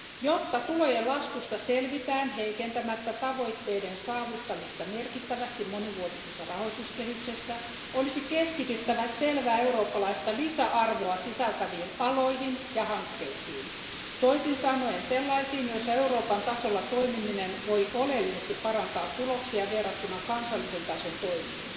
Jotta tulojen laskusta selvitään heikentämättä tavoitteiden saavuttamista merkittävästi monivuotisessa rahoituskehyksessä, olisi keskityttävä selvää eurooppalaista lisäarvoa sisältäviin aloihin ja hankkeisiin, toisin sanoen sellaisiin, joissa Euroopan tasolla toimiminen voi oleellisesti parantaa tuloksia verrattuna kansallisen tason toimiin.